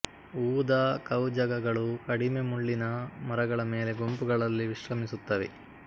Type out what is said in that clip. ಊದಾ ಕವುಜಗ ಗಳು ಕಡಿಮೆ ಮುಳ್ಳಿನ ಮರಗಳ ಮೇಲೆ ಗುಂಪುಗಳಲ್ಲಿ ವಿಶ್ರಮಿಸುತ್ತವೆ